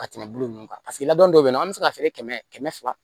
Ka tɛmɛ bulu nunnu kan paseke labɛn dɔw be yen nɔ an be se ka feere kɛmɛ kɛmɛ fila